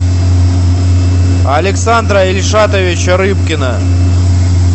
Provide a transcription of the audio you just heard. александра ильшатовича рыбкина